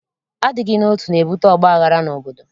Adịghị n'otu, na-ebute ọgbaghara n'obodo.